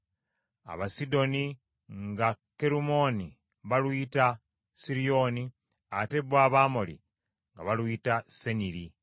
Abasidoni nga Kerumooni baluyita Siriyooni, ate bo Abamoli nga baluyita Seniri.